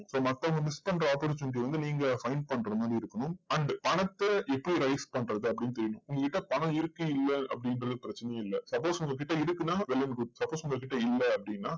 இப்போ மத்தவங்க miss பண்ற opportunity ய வந்து நீங்க find பண்ற மாதிரி இருக்கும். and பணத்தை எப்படி raise பண்றது அப்படின்னு தெரியணும். உங்ககிட்ட பணம் இருக்கு இல்ல அப்படிங்கிறது பிரச்சனையே இல்லை. suppose உங்க கிட்ட இருக்கு அப்படின்னா well and good suppose உங்க கிட்ட இல்ல அப்படின்னா,